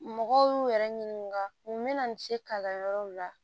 Mɔgɔw y'u yɛrɛ ɲininka mun bɛna n se kalan yɔrɔw la